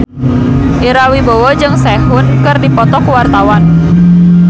Ira Wibowo jeung Sehun keur dipoto ku wartawan